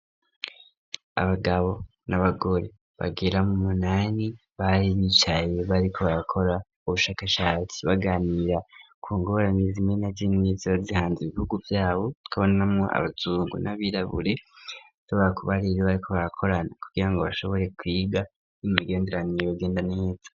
Abagabo n'abagore bagira mu munani bari bicaye bariko babakora ubushakashatsi ,baganira kungoranizimwe na vy'inizibazihanze ibihugu vyabo tukabonamwo abazungu ,n'abirabure zabara kuba riri bariko bakorana kugira ngo bashoboye kwiga n'imigenderanebugenda neza